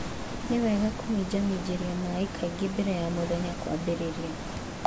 Nĩ wega kũminjaminjĩria maĩ kaingĩ mbere ya mũthenya kwambĩrĩria.